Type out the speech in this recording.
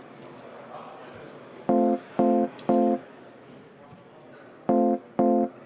Meie tänane istung on lõppenud.